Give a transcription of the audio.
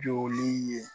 Jogini ye